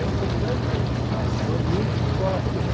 A importância que o ambiente de escola tem.